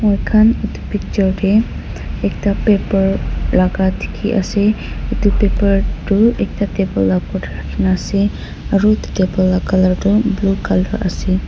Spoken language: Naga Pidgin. moi khan etu picture tey eta paper lai ka dike ase etu paper toh ekta table opor tey raki kena ase aro etu table la ke colour toh blue colour ase.